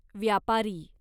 व्यापारी